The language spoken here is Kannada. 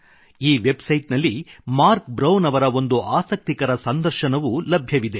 ಈ ವೆಬ್ ಸೈಟ್ ನಲ್ಲಿ ಮಾರ್ಕ್ ಬ್ರೌನ್ ಅವರ ಒಂದು ಆಸಕ್ತಿಕರ ಸಂದರ್ಶನವೂ ಲಭ್ಯವಿದೆ